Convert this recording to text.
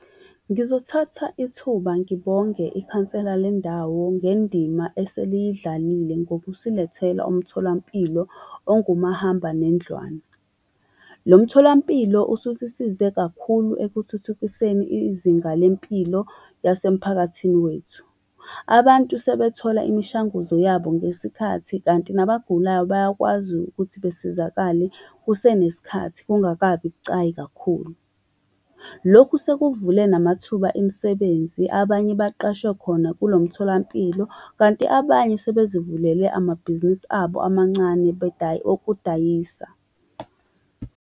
Ngizothatha ithuba ngibonge ikhansela lendawo ngendima eseliyidlalile ngokusilethela umtholampilo ongumahambanendlwana. Lo mtholampilo ususisize kakhulu ekuthuthukiseni izinga lempilo yasemphakathini wethu. Abantu sebethola imishanguzo yabo ngesikhathi, kanti nabagulayo bayakwazi ukuthi besizakale kusenesikhathi, kungakabi bucayi kakhulu. Lokhu sekuvule namathuba emisebenzi, abanye baqashwe khona kulomtholampilo, kanti abanye sebezivulele amabhizinisi abo amancane okudayisa.